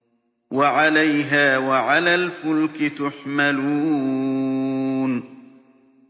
وَعَلَيْهَا وَعَلَى الْفُلْكِ تُحْمَلُونَ